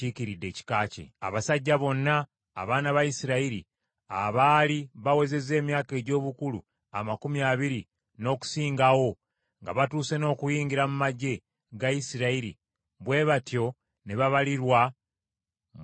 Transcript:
Abasajja bonna abaana ba Isirayiri abaali bawezezza emyaka egy’obukulu amakumi abiri n’okusingawo, nga batuuse n’okuyingira mu magye ga Isirayiri bwe batyo ne babalirwa mu bika byabwe.